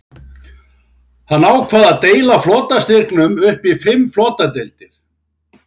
Hann ákvað að deila flotastyrknum upp í fimm flotadeildir.